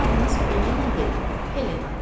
Sizin adınız Elena deyil, Helenadır.